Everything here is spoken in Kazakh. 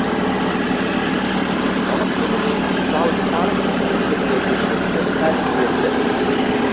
салық төлемей жалтарып жүргендердің мүлкі тәркіленді